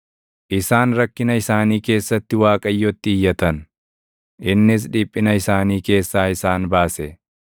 Isaan rakkina isaanii keessatti Waaqayyotti iyyatan; innis dhiphina isaanii keessaa isaan baase.